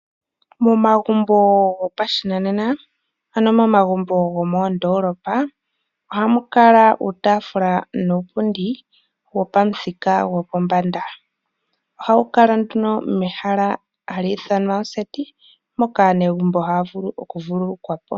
Momagumbo gopashinanena, ano omagumbo gomoondolopa ohamu kala uutaafula nuupundi wopamuthika gopombanda. Ohawu kala nduno mehala hali ithanwa oseti, moka aanegumbo haya vulu okuvululukwa po.